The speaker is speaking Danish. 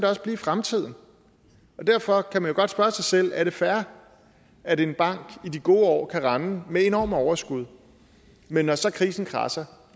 også blive i fremtiden derfor kan man jo godt spørge sig selv er det fair at en bank i de gode år kan rende med enorme overskud men når så krisen kradser